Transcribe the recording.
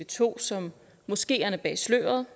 to som moskeerne bag sløret